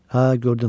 Hə, gördüm.